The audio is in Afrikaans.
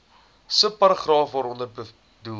subparagraaf waaronder bedoelde